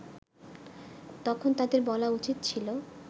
তখন তাদের বলা উচিত ছিল